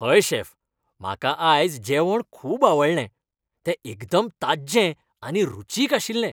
हय शेफ, म्हाका आयज जेवण खूब आवडलें. तें एकदम ताज्जें आनी रुचीक आशिल्लें.